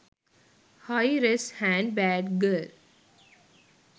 high res hand bag girl